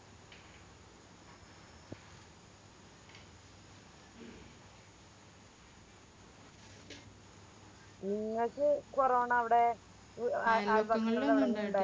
നിങ്ങക്ക് കൊറോണ അവിടെ